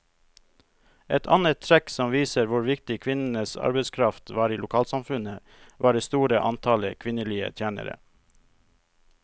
Et annet trekk som viser hvor viktig kvinnenes arbeidskraft var i lokalsamfunnet, var det store antallet kvinnelige tjenere.